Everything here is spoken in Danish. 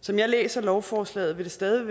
som jeg læser lovforslaget vil det stadig